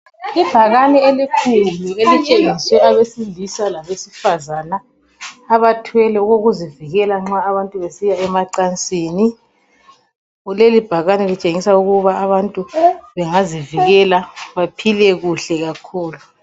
Ibhakene elikhulu elitshengisela abasilisa labesifazana, abathwele okokuzivikela nxa abantu besiya emacansini. Lelibhakane litshengisa ukuba abantu bangazivikela baphile kuhle kakhulu